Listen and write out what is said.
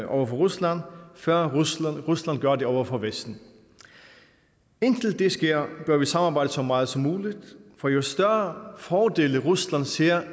over for rusland før rusland gør det over for vesten indtil det sker bør vi samarbejde så meget som muligt for jo større fordele rusland ser